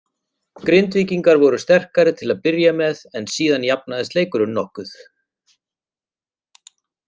Grindvíkingar voru sterkari til að byrja með en síðan jafnaðist leikurinn mokkuð.